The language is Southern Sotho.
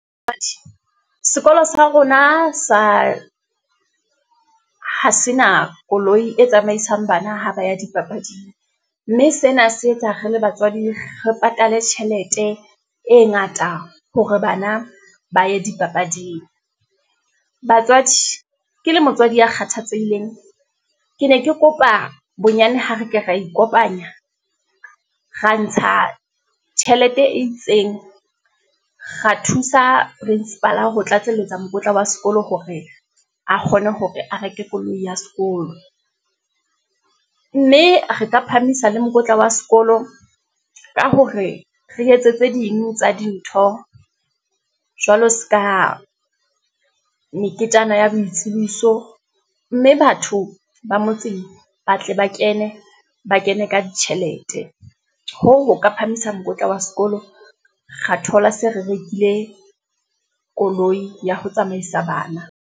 sekolo sa rona sa, ha se na koloi e tsamaisang bana ha ba ya dipapading, mme sena se etsa re le batswadi, re patale tjhelete e ngata hore bana ba ye dipapading. Batswadi, ke le motswadi ya kgathatsehileng, ke ne ke kopa bonyane ho re ke ra ikopanya, ra ntsha tjhelete e itseng, ra thusa principal-a ho tlatselletsa mokotla wa sekolo, hore a kgone hore a reke koloi ya sekolo, mme re ka phahamisa le mokotla wa sekolo, ka hore re etse tse ding tsa dintho, jwalo seka meketjana ya boitsebiso. Mme batho ba motseng ba tle ba kene, ba kene ka ditjhelete, hoo ho ka phahamisa mokotla wa sekolo. Ra thola se re rekile koloi ya ho tsamaisa bana.